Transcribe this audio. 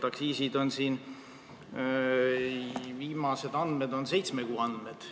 Aktsiiside kohta on siin viimased seitsme kuu andmed.